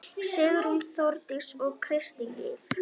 Sigrún, Þórdís og Kristín Líf.